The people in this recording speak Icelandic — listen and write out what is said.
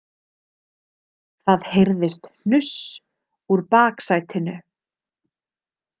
Það heyrðist hnuss úr baksætinu.